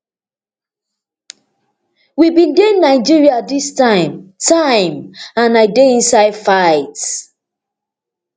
we bin dey nigeria dis time time and i dey inside fight